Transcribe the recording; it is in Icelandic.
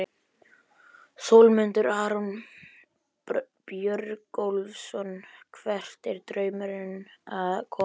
Sólmundur Aron Björgólfsson Hvert er draumurinn að komast?